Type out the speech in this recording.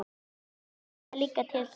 Kannski hann langi líka til þess!